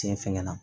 Tiɲɛ fɛnkɛ na